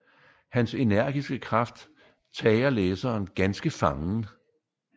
Hans energiske kraft tager læseren ganske fangen